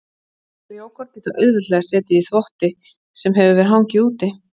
Frjókorn geta auðveldlega setið í þvotti sem hefur hangið úti.